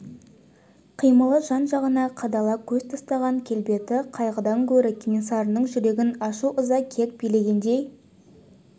қимылы жан-жағына қадала көз тастаған келбеті қайғыдан гөрі кенесарының жүрегін ашу-ыза кек билегендей